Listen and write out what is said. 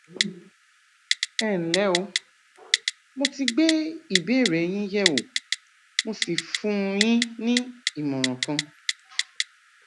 ẹnlẹ o mo ti gbé ìbéèrè yín yẹwò mo sì fún yín ní ìmọràn kan